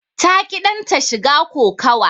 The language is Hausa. Ta ƙi danta shiga kokawa.